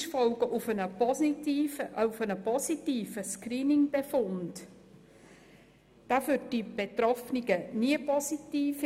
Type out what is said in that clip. Ein positiver Screening-Befund ist für die Betroffenen nie positiv;